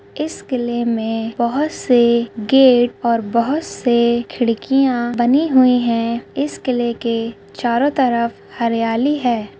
इस किले में बहुत से गेट और बहुत से खिड़किया बनी हुई है इस किले के चारो तरफ हरियाली है।